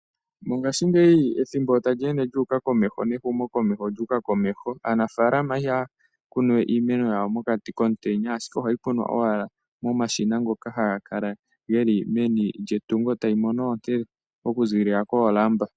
Mongaashingeyi ethimbo tali ende lyuuka komeho, nehumo komeho olyuuka komeho. Aanafaalama ihaya kunu we iimeno yawo mokati komutenya ashike ohayi kunwa owala momashina ngoka haga kala geli meni lyetungo, tayi mono oonte oku ziilila koolamba.